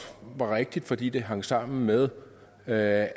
var rigtigt fordi det hang sammen med at